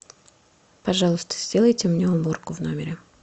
пожалуйста сделайте мне уборку в номере